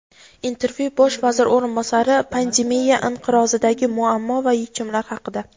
Intervyu: Bosh vazir o‘rinbosari pandemiya inqirozidagi muammo va yechimlar haqida.